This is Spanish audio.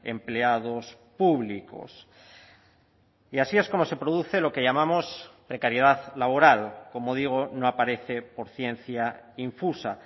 empleados públicos y así es como se produce lo que llamamos precariedad laboral como digo no aparece por ciencia infusa